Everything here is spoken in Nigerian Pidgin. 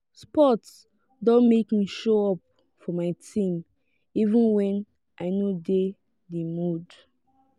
sport don make me show up for my team even when i no de di mood